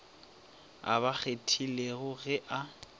a ba kgethilego ge a